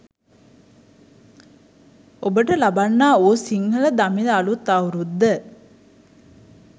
ඔබට ලබන්නා වූ සිංහල දමිළ අළුත් අවුරුද්ද